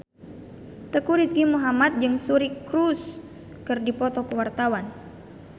Teuku Rizky Muhammad jeung Suri Cruise keur dipoto ku wartawan